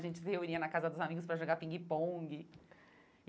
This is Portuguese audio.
A gente se reunia na casa dos amigos para jogar pingue-pongue.